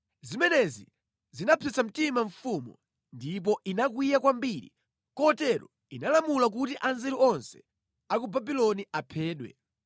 Zimenezi zinapsetsa mtima mfumu ndipo inakwiya kwambiri kotero inalamula kuti anzeru onse a ku Babuloni aphedwe.